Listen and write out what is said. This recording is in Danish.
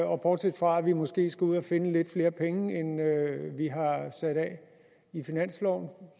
og bortset fra at vi måske skal ud at finde lidt flere penge end vi har sat af i finansloven